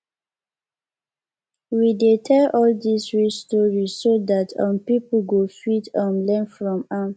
we dey tell all these real stories so dat um people go fit um learn from am